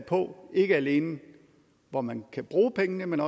på ikke alene hvor man kan bruge pengene men